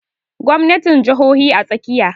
Gwamnatin jahohi a tsakiya